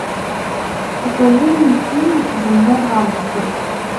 покажи мне фильм земля гангстеров